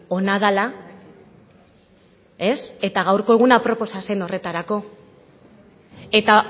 ona dela ez eta gaurko eguna aproposa zer horretarako eta